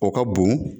O ka bon